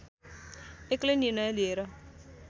एक्लै निर्णय लिएर